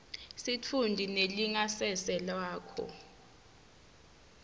sitfunti nelingasese lakho